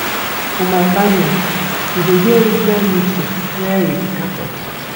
For my family, we dey get regular meeting where we dey catch up.